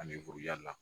Ani la